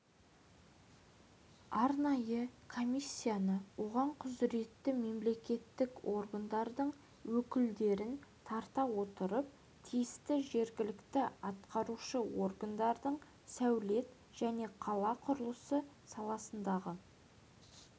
арнайы комиссияны оған құзыретті мемлекеттік органдардың өкілдерін тарта отырып тиісті жергілікті атқарушы органдардың сәулет және қала құрылысы саласындағы